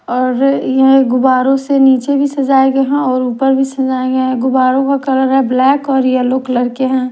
और यह गुब्बरों से नीचे भी सजाए गए हैं और ऊपर भी सजाए गए हैं गुब्बरों का कलर है ब्लैक और येलो कलर के हैं।